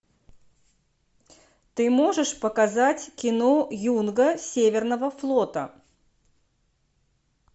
ты можешь показать кино юнга северного флота